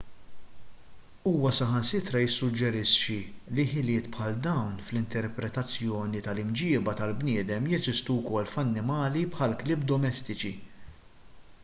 huwa saħansitra jissuġġerixxi li ħiliet bħal dawn fl-interpretazzjoni tal-imġiba tal-bniedem jeżistu wkoll f'annimali bħall-klieb domestiċi